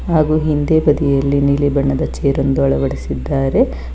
ಹಾಗೂ ಹಿಂದೆ ಬದಿಯಲ್ಲಿ ನೀಲಿ ಬಣ್ಣದ ಚೇರ್ ಒಂದು ಅಳವಡಿಸಿದ್ದಾರೆ.